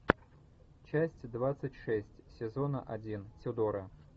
часть двадцать шесть сезона один тюдора